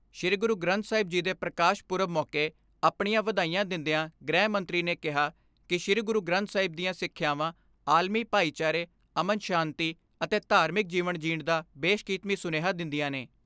ਸ਼੍ਰੀ ਗੁਰੂ ਗ੍ਰੰਥ ਸਾਹਿਬ ਜੀ ਦੇ ਪ੍ਰਕਾਸ਼ ਪਰਬ ਮੌਕੇ ਆਪਣੀਆਂ ਵਧਾਈਆਂ ਦਿੰਦਿਆਂ ਗ੍ਰਹਿ ਮੰਤਰੀ ਨੇ ਕਿਹਾ ਕਿ ਸ਼੍ਰੀ ਗੁਰੂ ਗ੍ਰੰਥ ਸਾਹਿਬ ਦੀਆਂ ਸਿੱਖਿਆਵਾਂ ਆਲਮੀ ਭਾਈਚਾਰੇ ਅਮਨ ਸ਼ਾਂਤੀ ਅਤੇ ਧਾਰਮਿਕ ਜੀਵਨ ਜੀਣ ਦਾ ਬੇਸ਼ਕੀਮਤੀ ਸੁਨੇਹਾ ਦਿੰਦੀਆਂ ਨੇ।